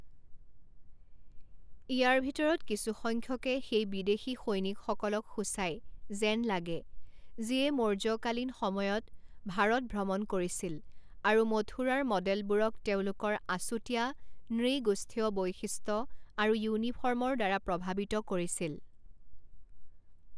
ইয়াৰ ভিতৰত কিছুসংখ্যকে সেই বিদেশী সৈনিকসকলক সূচায় যেন লাগে, যিয়ে মৌৰ্যকালীন সময়ত ভাৰত ভ্ৰমণ কৰিছিল আৰু মথুৰাৰ ম'ডেলবোৰক তেওঁলোকৰ আছুতীয়া নৃগোষ্ঠীয় বৈশিষ্ট্য আৰু ইউনিফৰ্মৰ দ্বাৰা প্ৰভাৱিত কৰিছিল।